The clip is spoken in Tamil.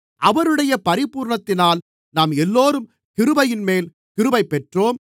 அவருடைய பரிபூரணத்தினால் நாம் எல்லோரும் கிருபையின்மேல் கிருபை பெற்றோம்